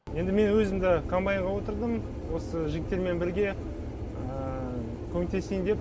енді мен өзім де комбайнға отырдым осы жігіттермен бірге көмектесейін деп